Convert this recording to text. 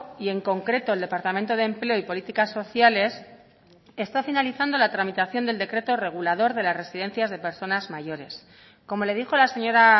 y en concreto el departamento de empleo y políticas sociales está finalizando la tramitación del decreto regulador de las residencias de personas mayores como le dijo la señora